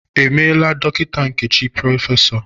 E meela Dọkịta Nkechi Prọfesọ?